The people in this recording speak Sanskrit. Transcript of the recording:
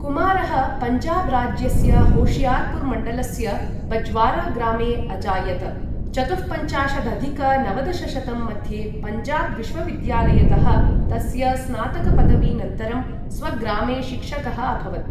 कुमारः पञ्जाब् राज्यस्य, होशियार्पुर् मण्डलस्य, बज्वारा ग्रामे अजायत। चतुःपञ्चाशदधिक नवदशशतं मध्ये पञ्जाब् विश्वविद्यालयतः तस्य स्नातकपदवीनन्तरं स्वग्रामे शिक्षकः अभवत्।